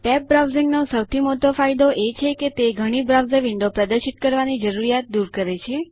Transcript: tab browsing નો સૌથી મોટો ફાયદો એ છે કે તે ઘણી બ્રાઉઝર વિન્ડો પ્રદર્શિત કરવાની જરૂર દૂર કરે છે